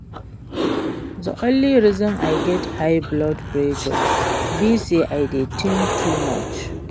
The only reason I get high blood pressure be say I dey think too much